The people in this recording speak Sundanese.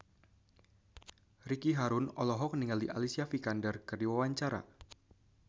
Ricky Harun olohok ningali Alicia Vikander keur diwawancara